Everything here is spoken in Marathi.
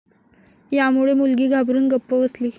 यामुळे मुलगी घाबरुन गप्प बसली.